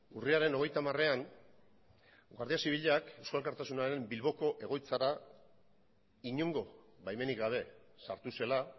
urriaren hogeita hamarean guardia zibilak eusko alkartasunaren bilboko egoitzara inongo baimenik gabe sartu zela